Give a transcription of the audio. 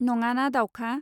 नङाना दावखा.